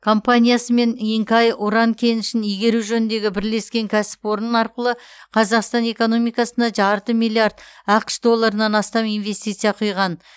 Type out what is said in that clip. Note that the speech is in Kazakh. компаниясымен инкай уран кенішін игеру жөніндегі бірлескен кәсіпорын арқылы қазақстан экономикасына жарты миллиард ақш долларынан астам инвестиция құйған